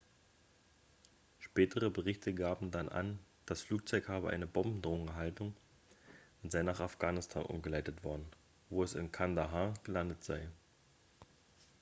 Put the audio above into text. spätere berichte gaben dann an das flugzeug habe eine bombendrohung erhalten und sei nach afghanistan umgeleitet worden wo es in kandahar gelandet sei